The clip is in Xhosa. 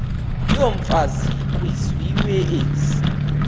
yomfazi kwizizwe ezi